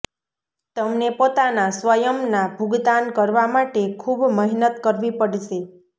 તમને પોતાના સ્વયં ના ભુગતાન કરવા માટે ખુબ મહેનત કરવી પડશે